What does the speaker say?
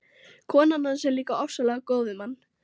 Konan hans er líka ofsalega góð við mann.